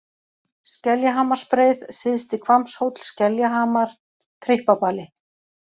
Skeljahamarsbreið, Syðsti-Hvammshóll, Skeljahamar, Tryppabali